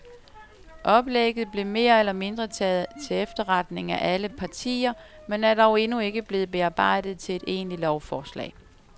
Oplægget blev mere eller mindre taget til efterretning af alle partier, men er dog endnu ikke blevet bearbejdet til et egentligt lovforslag.